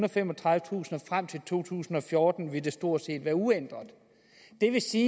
og femogtredivetusind og frem til to tusind og fjorten ville det stort set være uændret det vil sige